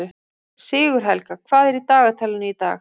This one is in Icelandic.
Sigurhelga, hvað er á dagatalinu í dag?